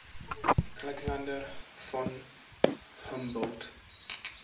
alexander von humboldt